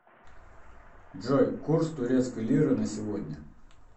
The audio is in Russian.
джой курс турецкой лиры на сегодня